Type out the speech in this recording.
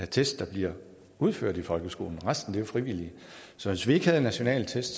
test der bliver udført i folkeskolen resten er jo frivillige så hvis vi ikke havde nationale test